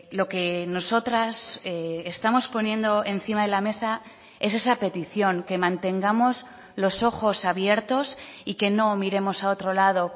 lo que nosotras estamos poniendo encima de la mesa es esa petición que mantengamos los ojos abiertos y que no miremos a otro lado